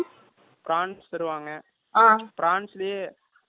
prawns லே green color ல ஒரு prawns கொண்டு வருவாங்க